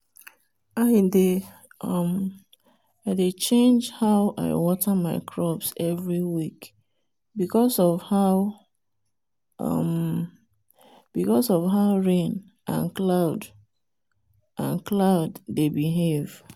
i dey um change how i water my crops every week because of how um rain and cloud and cloud dey behave.